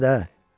İbiş nədi, ha?